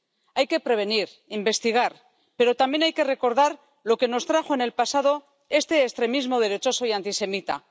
Hay que prevenir, investigar, pero también hay que recordar lo que nos trajo en el pasado este extremismo derechoso y antisemita.